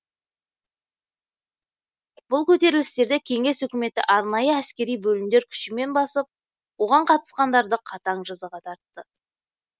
бұл көтерілістерді кеңес үкіметі арнайы әскери бөлімдер күшімен басып оған қатысқандары қатаң жазаға тартты